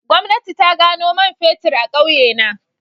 Gwamnati ta gano man fetur a kauyena